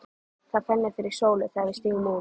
Það fennir fyrir sólu þegar við stígum út.